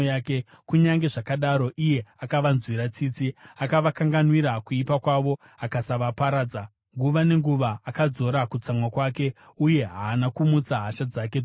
Kunyange zvakadaro iye akavanzwira tsitsi; akavakanganwira kuipa kwavo akasavaparadza. Nguva nenguva akadzora kutsamwa kwake, uye haana kumutsa hasha dzake dzose.